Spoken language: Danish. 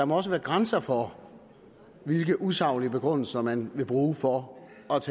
må være grænser for hvilke usaglige begrundelser man vil bruge for